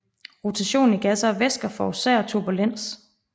Rotation i gasser og væsker forårsager turbulens